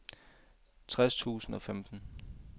tres tusind og femten